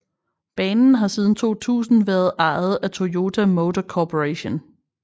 Banen har siden 2000 været ejet af Toyota Motor Corporation